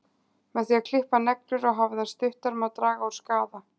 Með því að klippa neglur og hafa þær stuttar má draga úr skaða.